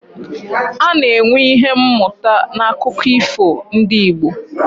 A na-enwe Ihe mụta n'akụkọ ifo ndị Igbo